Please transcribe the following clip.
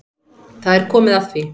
Það er komið að því.